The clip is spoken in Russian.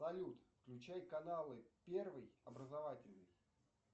салют включай каналы первый образовательный